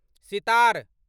sitar